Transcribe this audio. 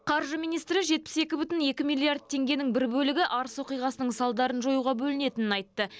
қаржы министрі жетпіс екі бүтін екі миллиард теңгенің бір бөлігі арыс оқиғасының салдарын жоюға бөлінетінін айтты